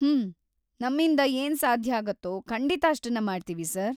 ಹ್ಮ್.., ನಮ್ಮಿಂದ ಏನ್ ಸಾಧ್ಯಾಗತ್ತೋ‌ ಖಂಡಿತ ಅಷ್ಟನ್ನ ಮಾಡ್ತೀವಿ, ಸರ್.